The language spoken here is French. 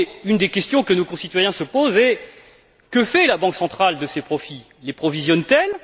Une des questions que nos concitoyens se posent est la suivante que fait la Banque centrale de ces profits? Les provisionne t elle?